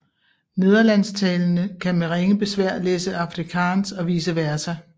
Nederlandstalende kan med ringe besvær læse afrikaans og vice versa